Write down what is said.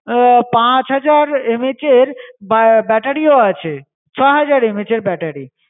আহ পাঁচ হাজার MH এর ব্যা~ battery ও আছে, ছয় হাজার MH এর battery ।